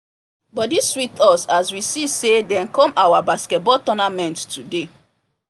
body sweet us as we see say dem come our basketball tournament today